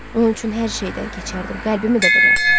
Bunun üçün hər şeydən keçərdim, qəlbimi də verərdim.